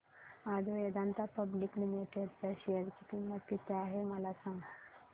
आज Vedanta public limited च्या share ची किंमत किती आहे मला सांगा